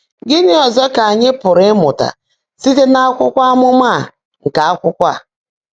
Gị́ní ọ́zọ́ kà ányị́ pụ́rụ́ ị́mụ́tá síte n’ákwụ́kwọ́ ámụ́má á nkè ákwụ́kwọ́?